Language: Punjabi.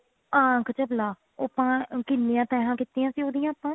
ਆਂਖ ਚਬਲਾ ਉਹ ਆਪਾਂ ਕਿੰਨੀਆ ਤੈਹਾਂ ਕੀਤੀਆਂ ਸੀ ਉਹਦੀਆਂ ਆਪਾਂ